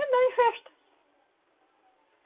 Andava em festa.